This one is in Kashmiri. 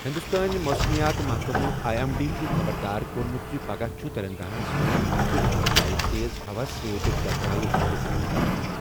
ہِنٛدوستٲنۍ موسمیات محکمہٕ آیی ایٚم ڈی چُھ خبردار کوٚرمُت زِ پَگہہ چُھ تیٚلنٛگاناہس منٛز کُنہِ کُنہِ جایہِ تیز ہوہَس سۭتۍ گگرایہ یِنُک اِمکان